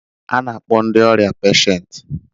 A na-akpọ ndị ọrịa peshent